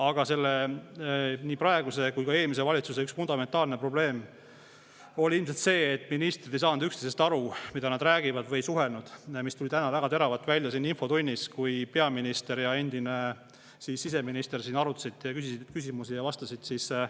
Aga nii praeguse kui ka eelmise valitsuse üks fundamentaalne probleem oli ilmselt see, et ministrid ei saanud üksteisest aru, mida nad räägivad, või ei suhelnud, mis tuli täna väga teravalt välja infotunnis, kui peaminister ja endine siseminister siin arutasid vastas küsimustele.